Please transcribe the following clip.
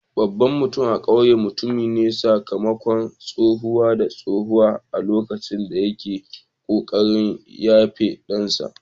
Babban mutum a kauyen ya mutu ne sakamakon tsawa da tsawa a lokacin da yake kokarin jefa dansa.